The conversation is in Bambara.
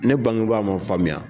Ne bangeba m'a faamuya